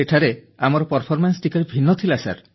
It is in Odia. ସେଠାରେ ଆମର ପ୍ରଦର୍ଶନ ଟିକିଏ ଭିନ୍ନ ଥିଲା ସାର